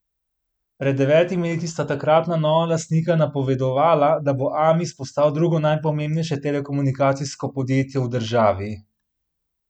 Pred devetimi leti sta takratna nova lastnika napovedovala, da bo Amis postal drugo najpomembnejše telekomunikacijsko podjetje v državi.